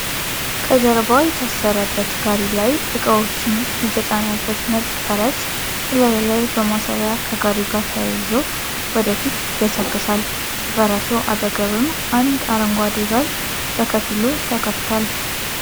ከጀርባ በታሰረበት ጋሪ ላይ እቃዎችን የተጫነበት ነጭ ፈረስ እላዩ ላይ በማሰሪያ ከጋሪው ጋር ተያይዞ ወደ ፊት ይገሰግሳል። ከፈረሱ አጠገብም አንድ አረንጓዴ በር በከፊሉ ተከፍቷል።